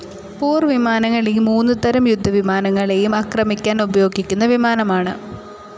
പോർവിമാനങ്ങൾ ഈ മൂന്ന് തരം യുദ്ധവിമാനങ്ങളെയും ആക്രമിക്കാൻ ഉപയോഗിക്കുന്ന വിമാനമാണ്.